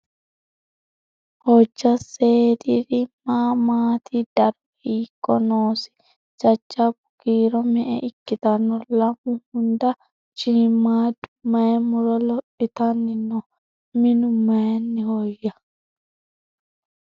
Hojja seediri ma maatti? Daro hiikko noosi? Jajabbu kiiro me'e ikkitanno? Lamu hunda shiimmadu mayi muro lophittanni noo? Minu mayiinnihoya?